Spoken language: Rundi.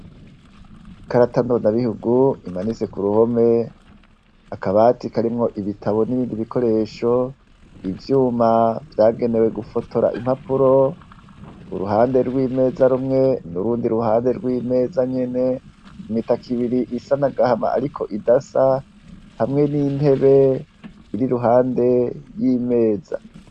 Ikarata ndonda bihugu imanitse ku ruhome, akabati karimwo ibitabo n'ibindi bikoresho, ivyuma vyagenewe gufotora impapuro, uruhande rw'imeza rumwe n'urundi ruhande rw'imeza nyene, imitaka ibiri isa n'agahama ariko idasa hamwe n'intebe iri iruhande y'imeza.